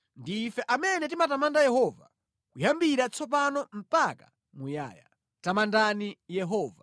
ndi ife amene timatamanda Yehova, kuyambira tsopano mpaka muyaya. Tamandani Yehova.